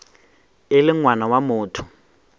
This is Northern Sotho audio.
e le ngwana wa motho